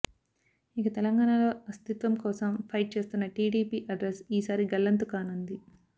ఇక తెలంగాణలో అస్తిత్వం కోసం ఫైట్ చేస్తోన్న టీడీపీ అడ్రస్ ఈ సారి గల్లంతుకానుంది